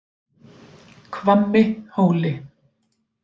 Hvammi Hóli